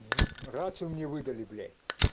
раньше мне выдали блять